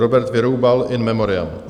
Robert Vyroubal, in memoriam.